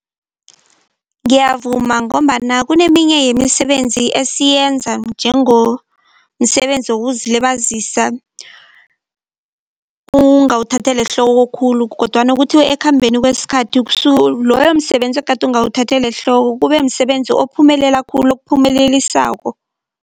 Ngiyavuma ngombana kuneminye yemisebenzi esiyenza njengomsebenzi wokuzilibazisa, ungawuthatheli ehloko khulu kodwana kuthiwe ekukhambeni kwesikhathi loyo msebenzi egade ungawuthatheli ehloko kube msebenzi ophumelela khulu, okuphumelelisako.